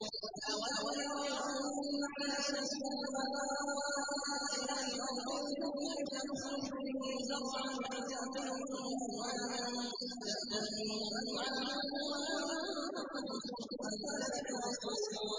أَوَلَمْ يَرَوْا أَنَّا نَسُوقُ الْمَاءَ إِلَى الْأَرْضِ الْجُرُزِ فَنُخْرِجُ بِهِ زَرْعًا تَأْكُلُ مِنْهُ أَنْعَامُهُمْ وَأَنفُسُهُمْ ۖ أَفَلَا يُبْصِرُونَ